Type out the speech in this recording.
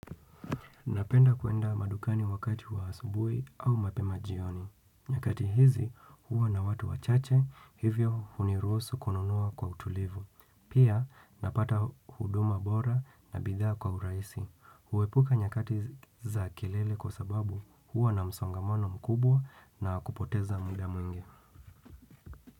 Napenda kuenda madukani wakati wa asubuhi au mapema jioni. Nyakati hizi huwa na watu wachache hivyo hunirusu kununua kwa utulivu. Pia napata huduma bora na bidhsa kwa urahisi. Huepuka nyakati za kilele kwa sababu huwa na msongamano mkubwa na kupoteza mda mwingi.